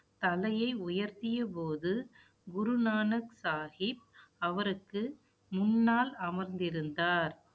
தலையை உயர்த்திய போது, குருநானக் சாகிப், அவருக்கு, முன்னால் அமர்ந்திருந்தார்